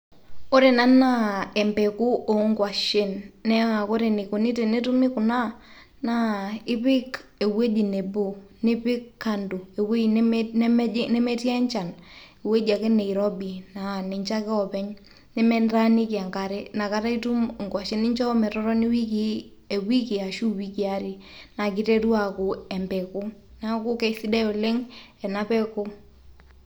Ore ena naa empeku o ng'washen naa ore enikuni pee etumi kuna naa ipik ewueji nebo, nipik kando ewuei ewuei nemetii enchan ewueji ake nirobi naa ninche ake oopeny nemintaniki enkare inakata ake itum ing'washen. Ninjo metoni eweki ashu iwikii are naake iteru aaku embeku, neeku kesidai oleng' ena peku.